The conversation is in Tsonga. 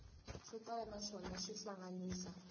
swo tala naswona xi hlanganisa